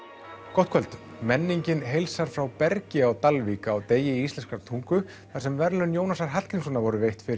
gott kvöld menningin heilsar frá Bergi á Dalvík á degi íslenskrar tungu þar sem verðlaun Jónasar Hallgrímssonar voru veitt fyrr